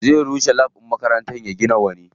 Zai rushe lab ɗin makarantar ya gina wani.